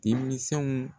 Denmisɛnw